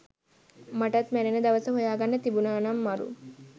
මටත් මැරෙන දවස හොයාගන්න තිබුනානම් මරු